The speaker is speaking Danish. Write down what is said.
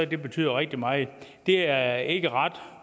det betyder rigtig meget det er ikke ret